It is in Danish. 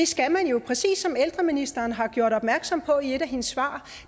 skal man præcis som ældreministeren har gjort opmærksom på i et af sine svar